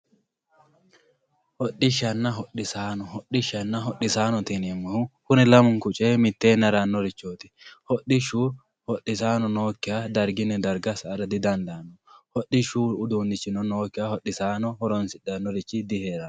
hodhishshanna hodhisaano hodhishshanna hodhisaanote yineemohu kuni lamunku coyee miteeni haranorichooti hodhishshu hodhisaano nookiha dargunni darga sa"ara didandaanno hodhishshu uduunichino nookiha hodhisaano hodhissannori diheeranno